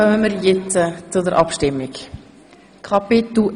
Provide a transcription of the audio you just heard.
Damit kommen wir zu den Abstimmungen I.